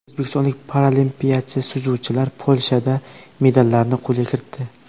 O‘zbekistonlik paraolimpiyachi suzuvchilar Polshada medallarni qo‘lga kiritdi.